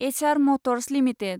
HR Motors limited